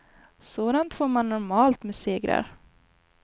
Sådant får man normalt med segrar.